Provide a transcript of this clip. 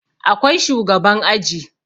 Akwai shugaban aji